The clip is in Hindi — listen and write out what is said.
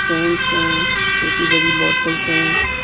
सेंट्स हैं छोटी बड़ी बोतल्स हैं।